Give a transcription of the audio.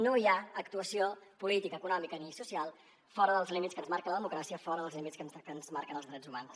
no hi ha actuació política econòmica ni social fora dels límits que ens marca la democràcia fora dels límits que ens marquen els drets humans